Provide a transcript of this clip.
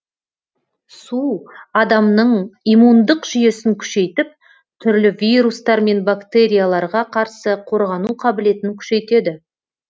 су адамның иммундық жүйесін күшейтіп түрлі вирустар мен бактерияларға қарсы қорғану қабілетін күшейтеді